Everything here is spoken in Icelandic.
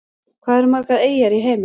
Hvað eru margar eyjar í heiminum?